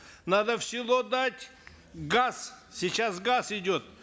надо в село дать газ сейчас газ идет